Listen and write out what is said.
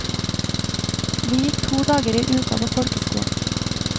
Vi gikk to dager i uka på folkeskolen.